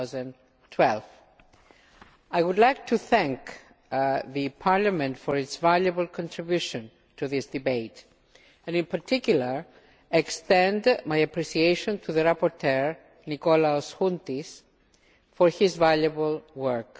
2012. I would like to thank the Parliament for its valuable contribution to this debate, and, in particular, extend my appreciation to the rapporteur, Nikolaos Chountis, for his valuable work.